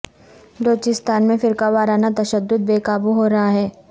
بلوچستان میں فرقہ وارانہ تشدد بے قابو ہو رہا ہے